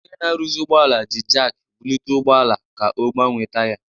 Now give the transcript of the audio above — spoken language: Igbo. Onye na-arụzi ụgbọala ji jakị bulite ụgbọ ala ka ọ gbanwee taya.